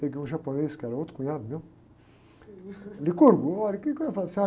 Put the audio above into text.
Peguei um japonês, que era outro cunhado meu, olha, o quê que eu ia, falei assim,